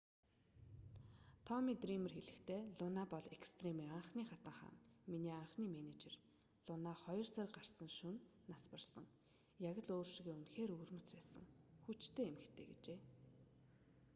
томми дриймер хэлэхдээ луна бол экстремийн анхны хатан хаан миний анхны менежер луна хоёр сар гарсан шөнө нас барсан яг л өөр шигээ үнэхээр өвөрмөц байсан хүчтэй эмэгтэй гэжээ